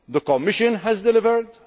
The Commission has delivered.